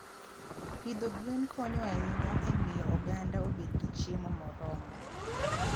Pidho gwen konyo ahinya e miyo oganda obed gi chiemo moromo.